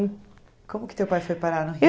Como que teu pai foi parar no